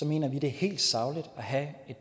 mener vi det er helt sagligt at have et